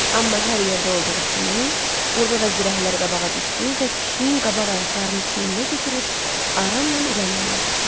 Amma hər yerdə olduğu kimi, burda da zirəklər qabağa düşdü və pişiyin qabaq ayaqlarını çiyninə götürüb aramla irəliləməyə başladılar.